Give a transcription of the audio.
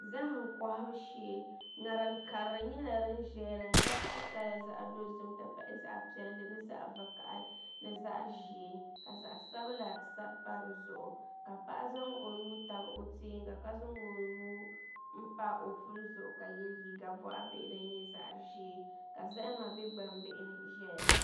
Zaham kohabu shee ŋarim piɛlli nyɛla din ʒɛya din gabisi kala zaɣ dozim n ti pahi zaɣ piɛlli ni zaɣ vakaɣali ni zaa ʒiɛ ka zaɣ sabila sabi pa dizuɣu ka paɣa zaŋ o nuu tabi o tiɛnga ka zaŋ o nuu n pa o puli zuɣu ka yɛ liiga boɣa bihi din nyɛ zaɣ ʒiɛ ka zahama bɛ gbambihi ni ʒɛya